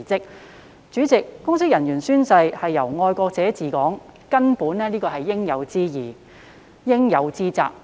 代理主席，公職人員宣誓以"愛國者治港"原則為根本，這是應有之義、應有之責。